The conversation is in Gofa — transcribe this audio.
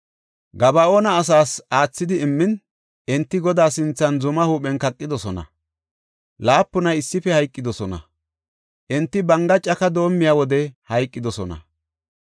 Gaba7oona asaas aathidi immin, enti Godaa sinthan zumaa huuphen kaqidosona; laapunay issife hayqidosona. Enti banga caka doomiya wode hayqidosona.